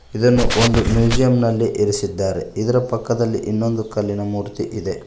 ಇದನ್ನು ಒಂದು ಮ್ಯೂಸಿಯಂ ನಲ್ಲಿ ಇರಿಸಿದ್ದಾರೆ ಇದರ ಪಕ್ಕದಲ್ಲಿ ಇನ್ನೊಂದು ಕಲ್ಲಿನ ಮೂರ್ತಿ ಇದೆ.